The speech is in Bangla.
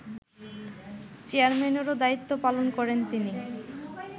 চেয়ারম্যানেরও দায়িত্ব পালন করেন তিনি